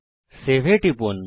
save এ টিপুন